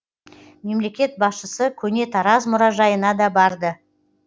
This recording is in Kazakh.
мемлекет басшысы көне тараз мұражайына да барды